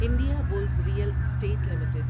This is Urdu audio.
India Bulls Real Estate limited